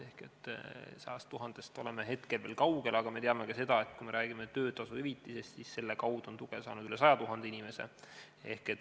Ehk 100 000-st oleme hetkel veel kaugel, aga me teame ka seda, et kui me räägime töötasuhüvitisest, siis selle kaudu on tuge saanud üle 100 000 inimese.